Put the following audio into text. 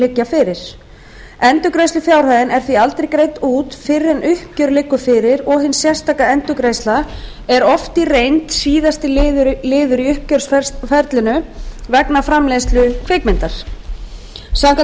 liggja fyrir endurgreiðslufjárhæðin er því aldrei greidd út fyrr en uppgjör liggur fyrir og hin sérstaka endurgreiðsla er oft í reynd síðasti liður í uppgjörsferlinu vegna framleiðslu kvikmyndar samkvæmt